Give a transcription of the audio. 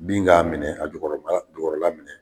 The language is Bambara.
Bin k'a minɛ a jukɔrɔ kala a jukɔrɔ la minɛ.